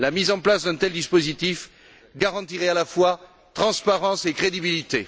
La mise en place d'un tel dispositif garantirait à la fois la transparence et la crédibilité.